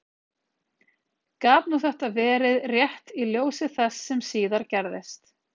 Gat nú þetta verið rétt í ljósi þess sem síðar gerðist?